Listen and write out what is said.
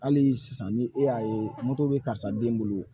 Hali sisan ni e y'a ye moto bɛ karisa den bolo